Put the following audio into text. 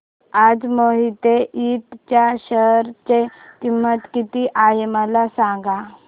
आज मोहिते इंड च्या शेअर ची किंमत किती आहे मला सांगा